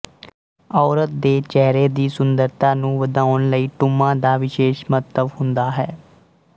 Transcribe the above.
ਔਰਤ ਦੇ ਚਿਹਰੇ ਦੀ ਸੁੰਦਰਤਾ ਨੂੰ ਵਧਾਉਣ ਲਈ ਟੂੰਮਾਂ ਦਾ ਵਿਸ਼ੇਸ਼ ਮਹੱਤਵ ਹੁੰਦਾ ਹੈ